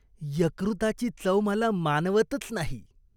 यकृताची चव मला मानवतच नाही.